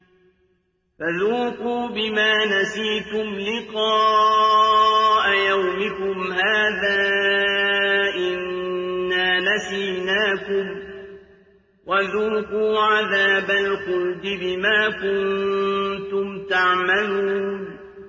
فَذُوقُوا بِمَا نَسِيتُمْ لِقَاءَ يَوْمِكُمْ هَٰذَا إِنَّا نَسِينَاكُمْ ۖ وَذُوقُوا عَذَابَ الْخُلْدِ بِمَا كُنتُمْ تَعْمَلُونَ